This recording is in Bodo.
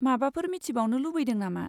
माबाफोर मिथिबावनो लुबैदों नामा?